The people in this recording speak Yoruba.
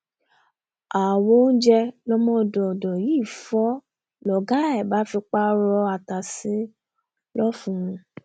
àwo oúnjẹ lọmọdọdọ yìí fọ́ lọ̀gá ẹ̀ bá fipá rọ ata sí i lọfun